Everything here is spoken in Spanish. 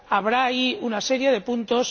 Habrá ahí una serie de puntos.